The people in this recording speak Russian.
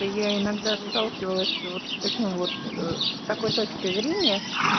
а я иногда сталкивалась вот с таким вот с такой точкой зрения